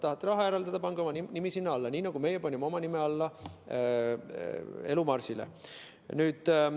Kui tahate raha eraldada, siis pange oma nimi sinna alla, nii nagu meie panime oma nime alla eraldisele Elu Marsile.